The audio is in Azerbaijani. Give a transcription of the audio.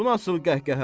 Bu nasıl qəhqəhə?